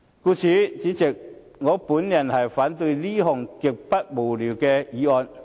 故此，主席，我反對這項極之無聊的議案。